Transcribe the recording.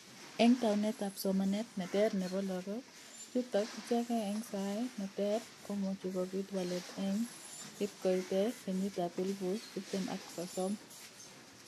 Eng taunet ab somanet ne ter nebo lokok chutok ichekee eng sai ne ter komuchi kopit walet eng ip koite kenyit ab elupu tiptem ak sosom.